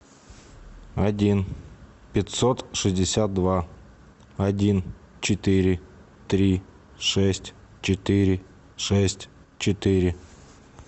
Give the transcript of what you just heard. один пятьсот шестьдесят два один четыре три шесть четыре шесть четыре